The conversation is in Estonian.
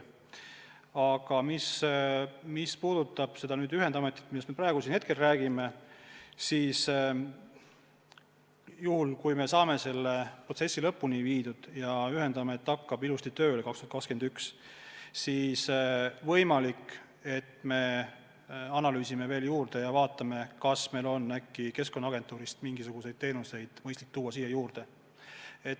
Aga mis puudutab seda ühendametit, millest me praegu räägime, siis kui me saame selle protsessi lõpuni viidud ja ühendamet hakkab aastal 2021 ilusti tööle, siis ehk me analüüsime veel ja vaatame, kas on äkki Keskkonnaagentuurist mingisuguseid teenuseid mõistlik sinna üle viia.